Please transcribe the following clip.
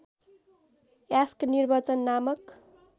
यास्क निर्वचन नामक